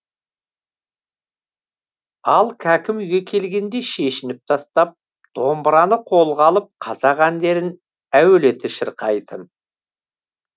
ал кәкім үйге келгенде шешініп тастап домбыраны қолға алып қазақ әндерін әуелете шырқайтын